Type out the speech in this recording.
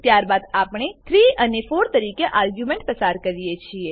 ત્યારબાદ આપણે 3 અને 4 તરીકે બે આર્ગ્યુંમેંટો પસાર કરીએ છીએ